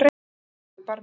Andri hló í barminn.